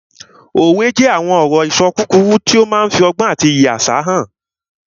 Òwe jẹ́ àwọn ọ̀rọ̀-ìṣọ kúkúrú tó máa n fi ọgbọ́n àti iyì àṣà hàn